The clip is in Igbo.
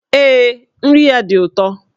Ee, nri ya dị ụtọ